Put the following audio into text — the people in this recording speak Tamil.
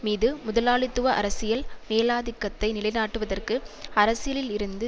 மீது முதலாளித்துவ அரசியல் மேலாதிக்கத்தை நிலை நாட்டுவதற்கு அரசியலில் இருந்து